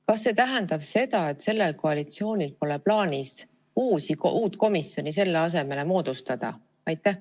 Kas see tähendab seda, et sellel koalitsioonil pole plaanis uut komisjoni selle asemele moodustada?